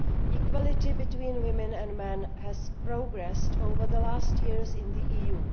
Equality between women and men has progressed over the last years in the EU.